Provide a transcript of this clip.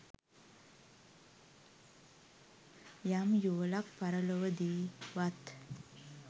යම් යුවළක් පරලොවදීවත්